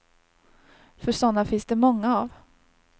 För sådana finns det många av.